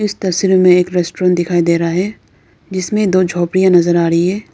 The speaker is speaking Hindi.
इस तस्वीर में एक रेस्टोरेंट दिखाई दे रहा है जिसमें दो झोपड़ियां नजर आ रही है।